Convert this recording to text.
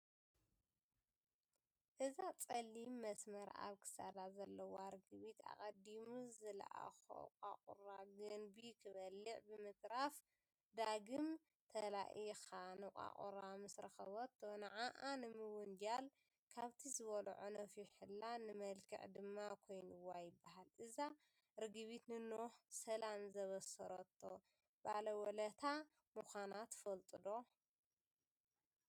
እዛ ፀሊም መስመር ኣብ ክሳዳ ዘለዋ ርግቢት ኣቐዲሙ ዝለኣኾ ቋቑራ ገንቢ ክበልዕ ብምትራፍ ዳግም ተላኢካ ንቋቁራ ምስረኸቦቶ ንዓዓ ንምውንጃል ካብቲ ዝበልዖ ነፊሑላ ንመልክዕ ድማ ኮይኑዋ ይበሃል፡፡ እዛ ርግቢት ንኖህ ሰላም ዘብሰረቶ ባለውለታ ምዃና ትፈልጡ ዶ?